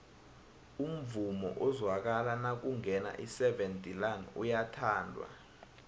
umvumo ozwakala nakungena iseven delaan uyathandwa